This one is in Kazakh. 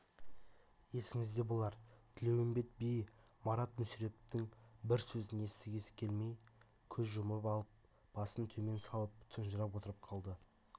есіңізде болар тілеуімбет би марат мүсірептің бір сөзін естігісі келмей көзін жұмып алып басын төмен салып тұнжырап отырып қалды